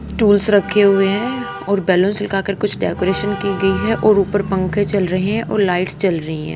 Tools रखे हुए हैं और बलुंस लगाकर कुछ डेकोरेशन की गई है और ऊपर पंखे चल रहे हैं और लाइट्स चल रही हैं।